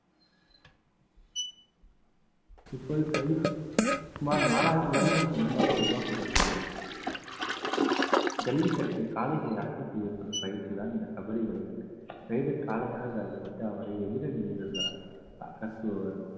இப்போது கை சுமார் நாலாயிரம் வருடங்களுக்கு முன்பாக உருவாக்கப்பட்டுள்ளது ஜல்லிக்கட்டில் காளைகளை அடக்கம் செய்யப்படும் பயிற்சிதான் இந்த கபடி விளையாட்டு raider காளையாக கருதப்பட்டு அவரை எதிரில் அகற்றுவார்